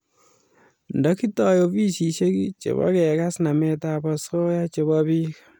nda kitoi ofisishek chebo kekas namet ab asoya chebo bik